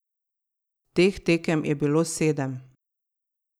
Teh tekem je bilo sedem.